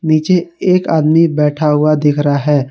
नीचे एक आदमी बैठा हुआ दिख रहा है।